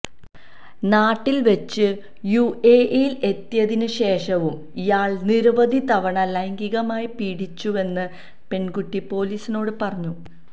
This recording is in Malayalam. നാട്ടില് വെച്ചും യുഎഇയില് എത്തിയതിന് ശേഷവും ഇയാള് നിരവധി തവണ ലൈംഗികമായി പീഡിപ്പിച്ചുവെന്ന് പെണ്കുട്ടി പൊലീസിനോട് പറഞ്ഞു